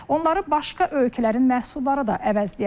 Onları başqa ölkələrin məhsulları da əvəzləyə bilər.